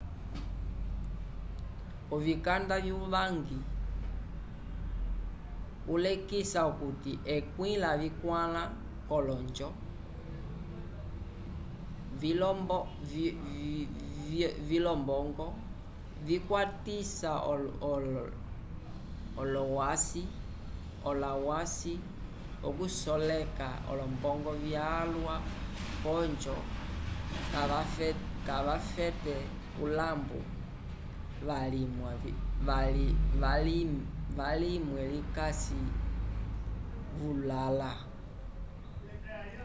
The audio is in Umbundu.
o vikanda wuvangi ulekisa okuti ekwĩ lavikwala colonjo vilombongo vakwatisa olawasi okusoleka olombo vyalwa ojo cavafete ilambu lavimwe vikasi vulala